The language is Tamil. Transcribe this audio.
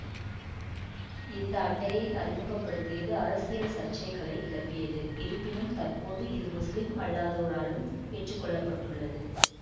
இந்த அட்டையை அறிமுக படுத்தியது அரசியல் சர்ச்சைகளை கிளப்பியது இருப்பினும் தற்போது இது முஸ்லிம் அல்லாதோராலும் ஏற்றுக்கொள்ளப்பட்டுள்ளது